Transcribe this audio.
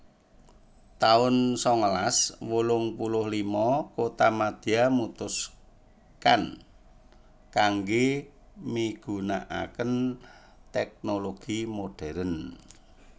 taun sangalas wolung puluh lima kotamadya mutuskan kanggé migunakaken tèknologi modern